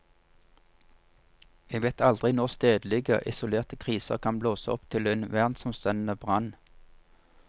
Vi vet aldri når stedlige, isolerte kriser kan blåse opp til en verdensomspennende brann.